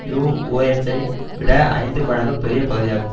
new ஒர்லியன்சை விட ஐந்து மடங்கு பெரிய பகுதியாகும்